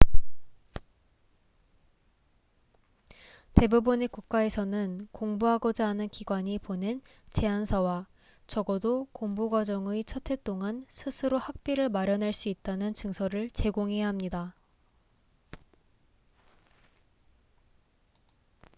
대부분의 국가에서는 공부하고자 하는 기관이 보낸 제안서와 적어도 공부 과정의 첫해 동안 스스로 학비를 마련할 수 있다는 증서를 제공해야 합니다